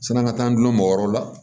San an ka taa an dun mɔgɔ wɛrɛw la